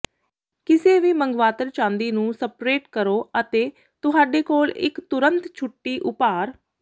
ਕਿਸੇ ਵੀ ਮੰਗਵਾਤਰ ਚਾਂਦੀ ਨੂੰ ਸਪਰੇਟ ਕਰੋ ਅਤੇ ਤੁਹਾਡੇ ਕੋਲ ਇੱਕ ਤੁਰੰਤ ਛੁੱਟੀ ਉਭਾਰ